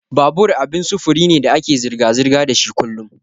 Babur abin sufuri ne da ake zirga-zirga dashi kullun.